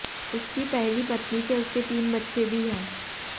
उसकी पहली पत्नी से उसके तीन बच्चे भी हैं